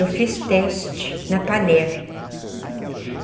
Eu fiz teste na Panair.